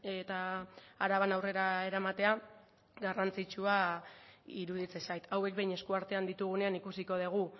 eta araban aurrera eramatea garrantzitsua iruditzen zait hauek behin esku artean ditugunean ikusiko dugu